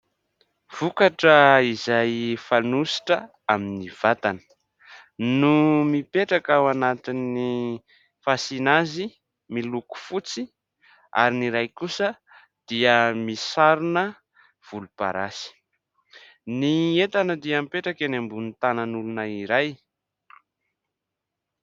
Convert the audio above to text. Vokatra izay fanosotra amin'ny vatana no mipetraka ao anatin'ny fasiana azy, miloko fotsy ary ny iray kosa dia misarona volomparasy. Ny entana dia mipetraka eny ambonin'ny tanan'olona iray.